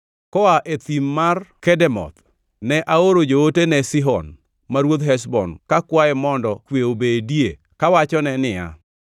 Koa e thim mar Kedemoth, ne aoro joote ne Sihon ma ruodh Heshbon kakwaye mondo kwe obedie kawachone niya,